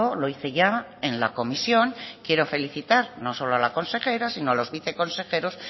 lo hice ya en la comisión quiero felicitar no solo a la consejera sino a los viceconsejeros